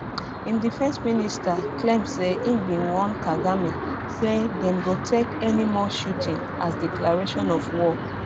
im defence minister claim say im bin warn kagame say dem go take any more shooting as declaration of war